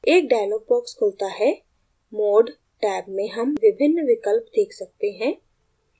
एक dialog box खुलता है mode टैब में हम विभिन्न विकल्प देख सकते हैं